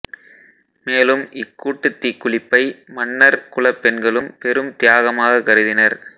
மேலும் இக்கூட்டுத் தீக்குளிப்பை மன்னர் குலப் பெண்களும் பெரும் தியாகமாக கருதினர்